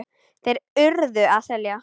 Þeir URÐU að selja.